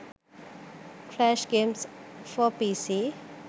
flash games for pc